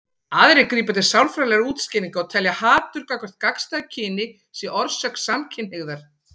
Aðrir grípa til sálfræðilegra útskýringa og telja að hatur gagnvart gagnstæðu kyni sé orsök samkynhneigðar.